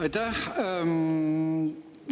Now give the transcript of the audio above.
Aitäh!